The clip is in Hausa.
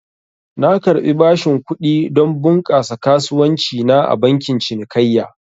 Na karbi bashin kudi don bunƙasa kasuwanci na a bankin cinikayya